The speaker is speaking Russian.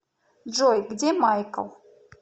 джой где майкл